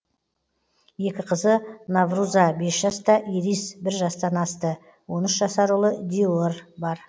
екі қызы наврұза бес жаста ирис бір жастан асты он үш жасар ұлы диер бар